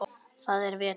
Það er vetur.